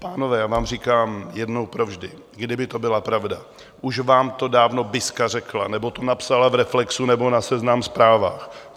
Pánové, já vám říkám jednou provždy: Kdyby to byla pravda, už vám to dávno Biska řekla nebo to napsala v Reflexu nebo na Seznam Zprávách.